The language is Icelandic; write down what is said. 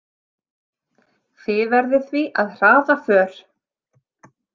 Þið verðið því að hraða för.